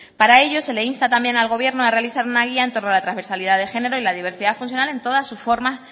para ello se le insta también al gobierno a realizar una guía en torno a la transversalidad de género y la diversidad funcional en todas sus formas